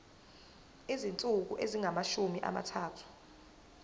izinsuku ezingamashumi amathathu